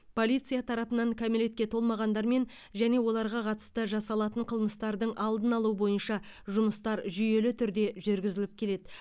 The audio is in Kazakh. полиция тарапынан кәмелетке толмағандармен және оларға қатысты жасалатын қылмыстардың алдын алу бойынша жұмыстар жүйелі түрде жүргізіліп келеді